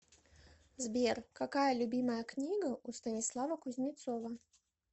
сбер какая любимая книга у станислава кузнецова